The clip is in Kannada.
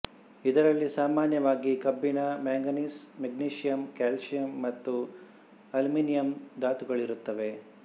ಇದರಲ್ಲಿ ಸಾಮಾನ್ಯವಾಗಿ ಕಬ್ಬಿಣ ಮ್ಯಾಂಗನೀಸ್ ಮ್ಯಾಗ್ನೀಸಿಯಂ ಕ್ಯಾಲ್ಸಿಯಂ ಮತ್ತು ಅಲ್ಯೂಮಿನಿಯಂ ಧಾತುಗಳಿರುತ್ತವೆ